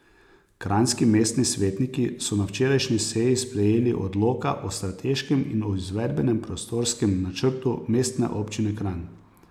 Kranjski mestni svetniki so na včerajšnji seji sprejeli odloka o strateškem in o izvedbenem prostorskem načrtu Mestne občine Kranj.